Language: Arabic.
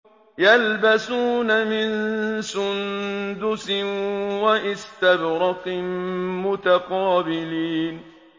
يَلْبَسُونَ مِن سُندُسٍ وَإِسْتَبْرَقٍ مُّتَقَابِلِينَ